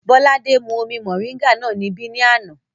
Bọ́ládé mú omi mọ̀ríńgà náà níbí ní àná